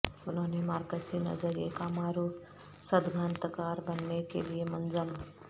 انہوں نے مارکسی نظریے کا معروف سدگھانتکار بننے کے لئے منظم